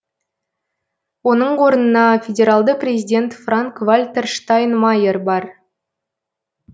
оның орнына федералды президент франк вальтер штайнмайер бар